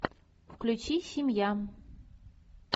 включи семья